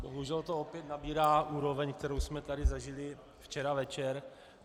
Bohužel to opět nabírá úroveň, kterou jsme tady zažili včera večer.